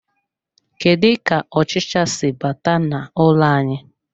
Kedu ka ọchịcha si bata n'ụlọ anyị.